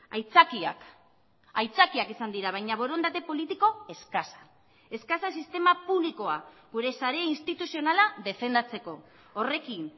aitzakiak aitzakiak izan dira baina borondate politiko eskasa eskasa sistema publikoa gure sare instituzionala defendatzeko horrekin